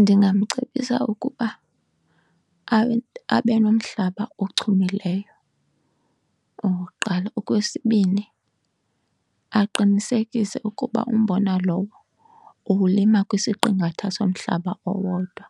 Ndingamcebisa ukuba abe nomhlaba ochumileyo okokuqala. Okwesibini, aqinisekise ukuba umbona lowo uwulima kwisiqingatha somhlaba owodwa